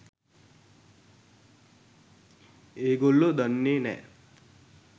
ඒගොල්ලො දන්නේ නෑ